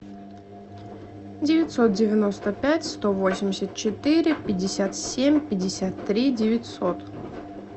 девятьсот девяносто пять сто восемьдесят четыре пятьдесят семь пятьдесят три девятьсот